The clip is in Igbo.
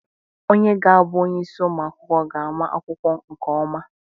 Onye ga-abụ onyeisi ụmụ akwụkwọ ga-ama akwụkwọ nke ọma.